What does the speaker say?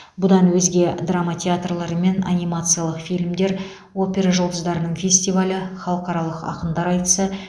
бұдан өзге драма театрлары мен анимациялық фильмдер опера жұлдыздарының фестивалі халықаралық ақындар айтысы